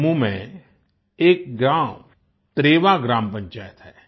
जम्मू में एक ग्राम त्रेवा ग्राम पंचायत है